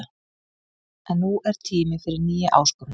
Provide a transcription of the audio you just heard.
En nú er tími fyrir nýja áskorun.